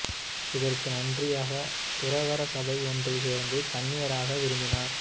இதற்கு நன்றியாகத் துறவற சபை ஒன்றில் சேர்ந்து கன்னியராக விரும்பினார்